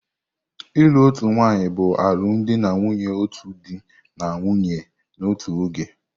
Ịlụ otu nwanyị bụ alụmdi na nwunye otu di na nwunye n'otu oge.